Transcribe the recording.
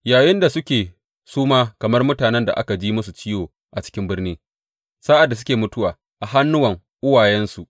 Yayinda suke suma kamar mutanen da aka ji masu ciwo a cikin birni, sa’ad da suke mutuwa a hannuwan uwayensu.